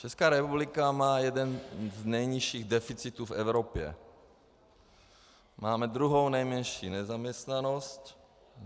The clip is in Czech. Česká republika má jeden z nejnižších deficitů v Evropě, máme druhou nejnižší nezaměstnanost.